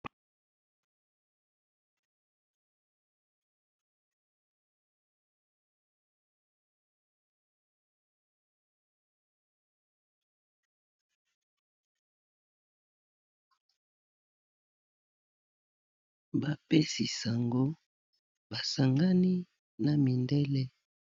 Bapesi sango basangani na mindele.